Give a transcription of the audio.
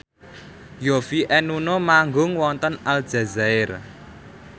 Yovie and Nuno manggung wonten Aljazair